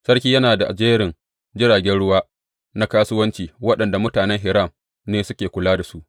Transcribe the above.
Sarki yana da jerin jiragen ruwa na kasuwanci waɗanda mutanen Hiram ne suke kula da su.